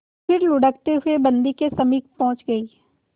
फिर लुढ़कते हुए बन्दी के समीप पहुंच गई